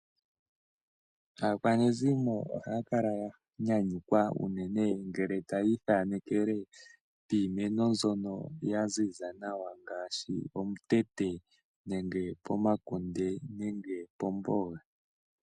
Aakwanezimo ohaya kala ya nyanyukwa unene ngele tayii thanekele piimeno mbyono ya ziza nawa ngaashi omutete nenge pomakunde noshowo pomboga.